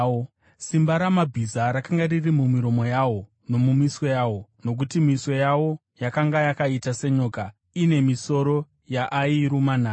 Simba ramabhiza rakanga riri mumiromo yawo nomumiswe yawo; nokuti miswe yawo yakanga yakaita senyoka, ine misoro yaayiruma nayo.